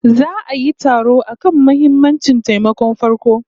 Za'a yi taro akan muhimammancin taimakon farko